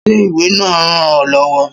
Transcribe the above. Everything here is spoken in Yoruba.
Ṣé ìwé náà ràn ọ lọ́wọ́?